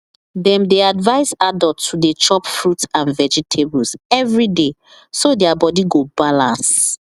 dem dey advise adults to dey chop fruit and vegetables every day so their body go balance